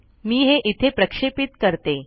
मी हे इथे प्रक्षेपित करते